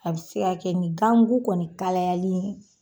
A bE se ka kɛ ni ganMuKu kɔni kalayali ye.